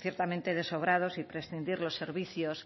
ciertamente de sobrados y prescindir los servicios